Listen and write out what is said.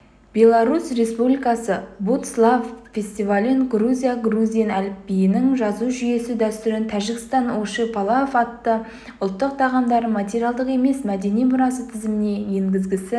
беларусь республикасы будслав фестивалін грузия грузин әліпбиінің жазу жүйесі дәстүрін тәжікстан оши-палав атты ұлттық тағамдарын материалдық емес мәдени мұрасы тізіміне енгізгісі